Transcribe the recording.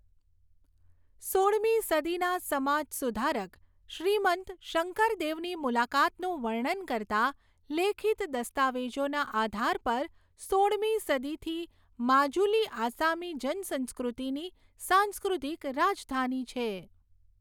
સોળમી સદીના સમાજ સુધારક શ્રીમંત શંકરદેવની મુલાકાતનું વર્ણન કરતા લેખિત દસ્તાવેજોના આધાર પર સોળમી સદીથી માજુલી આસામી જનસંસ્કૃતિની સાંસ્કૃતિક રાજધાની છે.